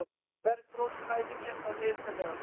Bergrós, hvað er mikið eftir af niðurteljaranum?